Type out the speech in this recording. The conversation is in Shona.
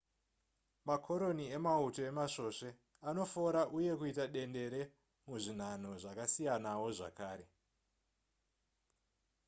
makoroni emauto emasvosve anofora uye kuita dendere muzvinhanho zvakasiyanawo zvakare